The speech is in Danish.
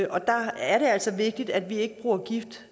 og der er det altså vigtigt at vi ikke bruger gift